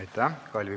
Aitäh!